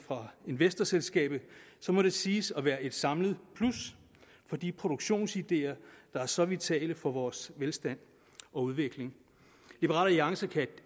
fra investorselskabet må det siges at være et samlet plus for de produktionsideer der er så vitale for vores velstand og udvikling liberal alliance kan